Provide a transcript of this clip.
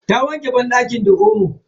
Ta wanke banɗaki da omo.